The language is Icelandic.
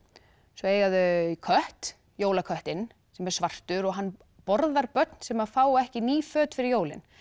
svo eiga þau kött jólaköttinn sem er svartur og hann borðar börn sem fá ekki ný föt fyrir jólin